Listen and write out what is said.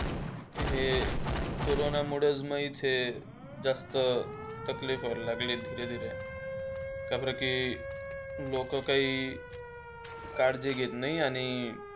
हे कोरोनामुळे मा इथे जास्त तकलिफ व्हायला लागली. धीरे धीरे का बार की लोकं काही काळजी घेत नाही आणि.